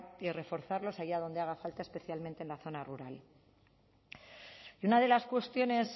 y reforzarlos allá donde haga falta especialmente en la zona rural y una de las cuestiones